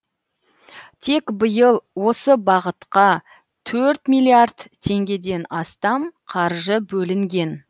тек биыл осы бағытқа төрт миллиард теңгеден астам қаржы бөлінген